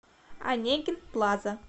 онегин плаза